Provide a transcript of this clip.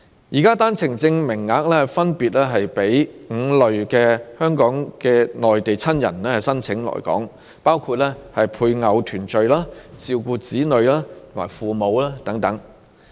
現時的單程證名額分別是供5類港人的內地親人申請來港，包括與配偶團聚、照顧子女和父母等。